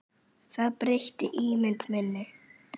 Það breytti ímynd minni.